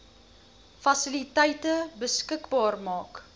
fasiliteite beskikbaar maak